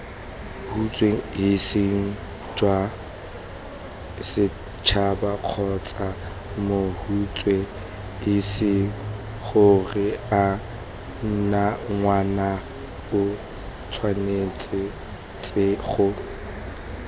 huts hisijwasets habakgotsamots huts hisigoreangwanaotshwanetsego